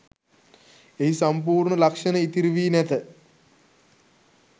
එහි සම්පූර්ණ ලක්ෂණ ඉතිරිවී නැත